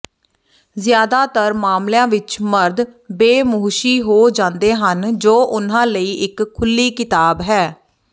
ਜ਼ਿਆਦਾਤਰ ਮਾਮਲਿਆਂ ਵਿਚ ਮਰਦ ਬੇਮੁਹਸ਼ੀ ਹੋ ਜਾਂਦੇ ਹਨ ਜੋ ਉਨ੍ਹਾਂ ਲਈ ਇਕ ਖੁੱਲ੍ਹੀ ਕਿਤਾਬ ਹੈ